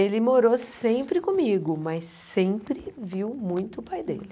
Ele morou sempre comigo, mas sempre viu muito o pai dele.